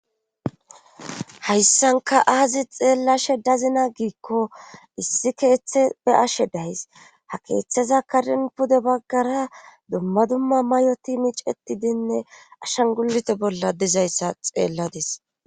Hayssankka aazi xeellashe dazina giikko issi keeththe beyashe days. ha keeththeza karen pude baggara dumma dumma may'oti miicetidinne ashangulute bolla dizayssa xeelladis.